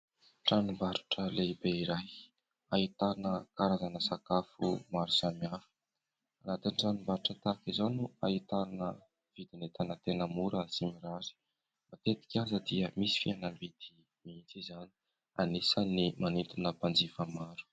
Tranom-barotra lehibe iray ahitana karazana sakafo maro samihafa. Anatiny tranombarotra tahaka izao no ahitana vidin'entana tena mora sy mirary; matetika aza dia misy fihenam-bidy mihitsy izany ; anisan' ny manintona mpanjifa maro.